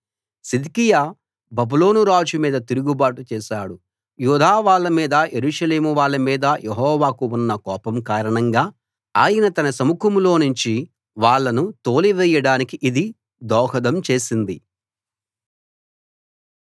సిద్కియా బబులోనురాజు మీద తిరుగబాటు చేశాడు యూదావాళ్ళ మీద యెరూషలేమువాళ్ళ మీద యెహోవాకు ఉన్న కోపం కారణంగా ఆయన తన సముఖంలోనుంచి వాళ్ళను తోలివేయడానికి ఇది దోహదం చేసింది